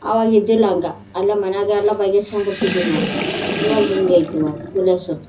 ಅವಾಗ ಇದ್ದಿಲ್ಲ ಹಂಗ ಅಲ್ಲೇ ಮನೆಯಾಗೆ ಎಲ್ಲ ಬಗೆಹರಿಸಿ ಕೊಂಡು ಬಿಡ್ತಿದ್ವಿ ನಾವು ಇವಾಗ ಹಿಂಗೈತೆ ವ .]